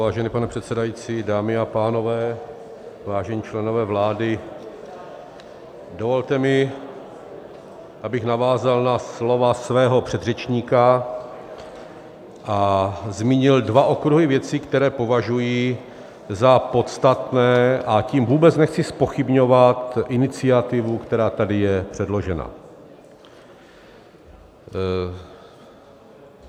Vážený pane předsedající, dámy a pánové, vážení členové vlády, dovolte mi, abych navázal na slova svého předřečníka a zmínil dva okruhy věcí, které považuji za podstatné, a tím vůbec nechci zpochybňovat iniciativu, která tady je předložena.